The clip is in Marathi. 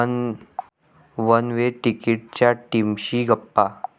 वन वे तिकीट'च्या टीमशी गप्पा